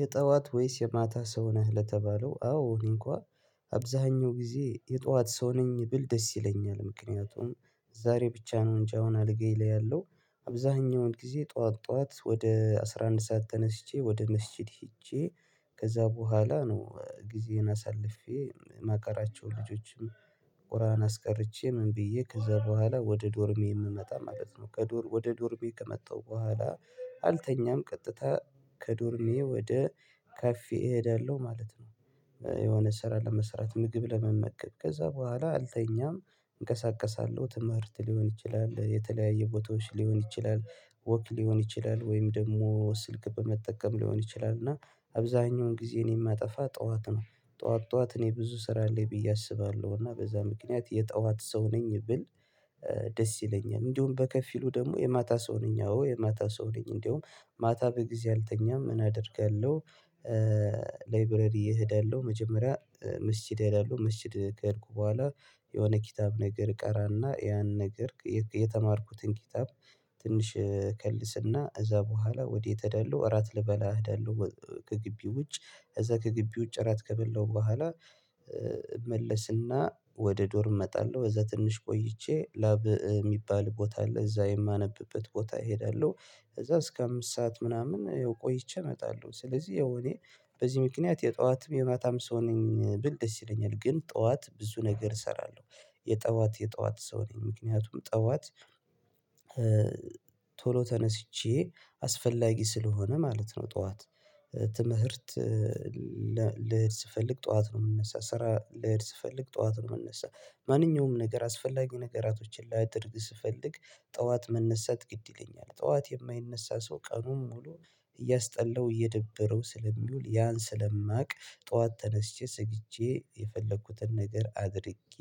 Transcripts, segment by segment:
የጠዋት ወይስ የማታ ሰው ነህ ለተባለው አዎ እንኳን አብዛኛው ጊዜ የጠዋት ሰው ነኝ ብል ደስ ይለኛል። ምክንያቱም ዛሬ ብቻ ነው እንጃውን አለጋዬ ላይ ያለው አብዛኛውን ጊዜ ጠዋት ጠዋት ወደ አስራ አንድ ሰዓት ተነስቼ ወደ መስጊድ ሄጄ። ከዛ በኋላ ነው ጊዜን አሳልፌ ማቀራቸውን ልጆችም ቁርአን አስቀርቼ ምን ብዬ ከዛ በኋላ ወደ ዶርሜ የምመጣ ማለት ነው። ከዶር ወደ ዶርሜ ከመጣው በኋላ አልተኛም ቀጥታ ከዶርሜ ወደ ካፌ እሄዳለሁ ማለት ነው። የሆነ ስራ ለመስራት ምግብ ለመመገብ ከዛ በኋላ አልተኛም እንቀሳቀሳለሁ ትምህርት ሊሆን ይችላል የተለያየ ቦታዎች ሊሆን ይችላል ወክ ሊሆን ይችላል ወይም ደግሞ ስልክ በመጠቀም ሊሆን ይችላል እና አብዛኛውን ጊዜ የማጠፋ ጠዋት ነው። ጠዋት እኔ ብዙ ስራ አለኝ ብዬ አስባለሁ እና በዛ ምክንያት የጠዋት ሰው ነኝ ብል። ደስ ይለኛል። እንዲሁም በከፊሉ ደግሞ የማታ ሰው ነኝ አዎ የማታ ሰው ነኝ እንዲሁም ማታ በጊዜ አልተኛም ምን አደርጋለሁ? ላይብረሪ እሄዳለሁ መጀመሪያ መስጂድ እሄዳለሁ መስጂድ ከሄድኩ በኋላ የሆነ ኪታብ ነገር እቀራና ያን ነገር የተማርኩትን ኪታብ። ትንሽ ከልስና እዛ በኋላ ወዴት አይደለሁ እራት ልበላ አይደለሁ? ከግቢ ውጭ እዛ ከግቢ ውጭ እራት ከበላሁ በኋላ እመለስና ወደ ዶርም እመጣለሁ እዛ ትንሽ ቆይቼ ላብ የሚባል ቦታ አለ እዛ የማነብበት ቦታ እሄዳለሁ። ከዛ እስከ አምስት ሰዓት ምናምን ቆይቼ እመጣለሁ ስለዚህ የሆነ በዚህ ምክንያት የጠዋትም የማታም ሰው ነኝ ብል ደስ ይለኛል። ግን ጠዋት ብዙ ነገር እሰራለሁ። የጠዋት የጠዋት ሰው ነኝ ምክንያቱም ጠዋት ቶሎ ተነስቼ አስፈላጊ ስለሆነ ማለት ነው። ጠዋት ትምህርት ልስፈልግ ጠዋት ነው የምንነሳ ስራ ልሄድ ስፈልግ ጠዋት ነው የምንነሳ። ማንኛውም ነገር አስፈላጊ ነገራቶችን ላይደርግ ስፈልግ ጠዋት መነሳት ግድ ይለኛል። ጠዋት የማይነሳ ሰው ቀኑን ሙሉ እያስጠላው እየደበረው ስለሚውል ያን ስለማውቅ ጠዋት ተነስቼ ሰግጄ የፈለኩትን ነገር አድርጌ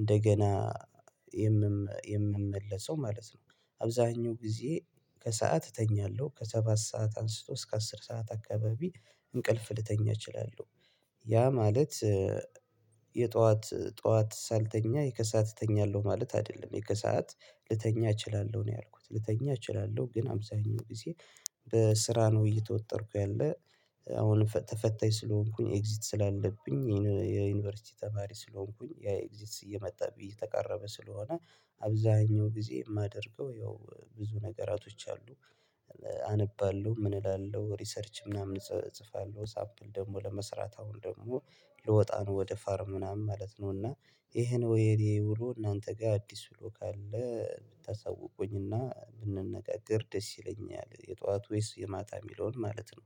እንደገና የምመለሰው ማለት ነው። አብዛኛው ጊዜ ከሰአት እተኛለሁ ከሰባት ሰዓት አንስቶ እስከ አስር ሰዓት አካባቢ እንቅልፍ ልተኛ እችላለሁ። ያ ማለት የጠዋት ጠዋት ሳልተኛ ከሰአት እተኛለሁ ማለት አይደለም ከሰአት ልተኛ እችላለሁ ነው። ያልኩት ልተኛ እችላለሁ ግን አብዛኛው ጊዜ በስራ ነው እየተወጠርኩ ያለ አሁንም ተፈታኝ ስለሆንኩኝ ኤግዚት ስላለብኝ የዩኒቨርሲቲ ተማሪ ስለሆንኩኝ ያ ኤግዚት እየመጣብኝ እየተቃረበ ስለሆነ። አብዛኛው ጊዜ የማደርገው ያው ብዙ ነገራቶች አሉ። አነባለሁ ምን እላለሁ ሪሰርች ምናምን እጽፋለሁ ሳምፕል ደግሞ ለመስራት አሁን ደግሞ ልወጣ ነው ወደ ፋርም ምናምን ማለት ነው። እና ይሄን ወይ የኔ ውሎ እናንተ ጋር አዲስ ውሎ ካለ ብታሳውቁኝና ብንነጋገር ደስ ይለኛል። የጧቱ ወይስ የማታ የሚለውን ማለት ነው።